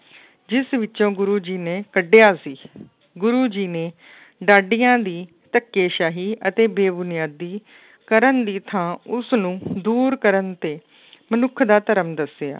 ਜਿਸ ਵਿੱਚੋਂ ਗੁਰੂ ਜੀ ਨੇ ਕੱਢਿਆ ਸੀ ਗੁਰੂ ਜੀ ਨੇ ਡਾਡੀਆਂ ਦੀ ਧੱਕੇਸ਼ਾਹੀ ਅਤੇ ਬੇਬੁਨਿਆਦੀ ਕਰਨ ਦੀ ਥਾਂ ਉਸਨੂੰ ਦੂਰ ਕਰਨ ਤੇ ਮਨੁੱਖ ਦਾ ਧਰਮ ਦੱਸਿਆ।